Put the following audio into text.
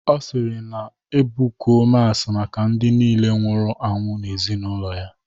Ọ sịrị ka ebukuo masị maka ndị niile nwụrụ anwụ n'ezinaụlọ ya